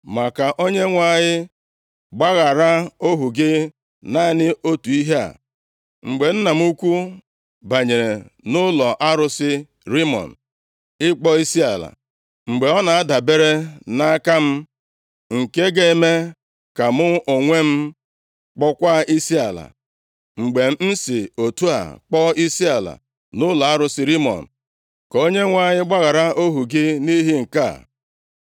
Ma ka Onyenwe anyị gbaghara ohu gị naanị otu ihe a. Mgbe nna m ukwu banyere nʼụlọ arụsị Rimọn ịkpọ isiala, mgbe ọ na-adabere nʼaka m, nke ga-eme ka mụ onwe m kpọọkwa isiala. Mgbe m si otu a kpọọ isiala nʼụlọ arụsị Rimọn, ka Onyenwe anyị gbaghara ohu gị nʼihi nke a.”